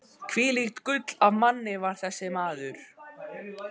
Hvílíkt gull af manni var þessi maður!